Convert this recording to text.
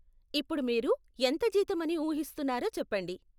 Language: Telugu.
ఇప్పుడు మీరు ఎంత జీతం అని ఊహిస్తున్నారో చెప్పండి.